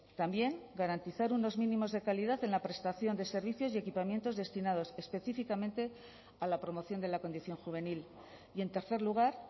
también garantizar unos mínimos de calidad en la prestación de servicios y equipamientos destinados específicamente a la promoción de la condición juvenil y en tercer lugar